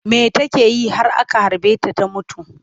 Me take yi har aka harbe ta ta mutu?